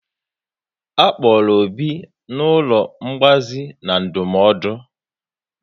A kpọrọ Obi n'ụlọ ngbazi na ndụmọdụ